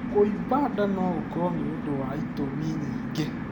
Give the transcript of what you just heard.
Kũimba nda no gũkorwo nĩ ũndũ wa itũmi nyingĩ.